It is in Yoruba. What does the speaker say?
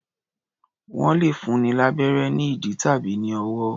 Wọ́n lẹ̀ fúnni lábérẹ́ ní ìdí tàbí ní ọwọ́.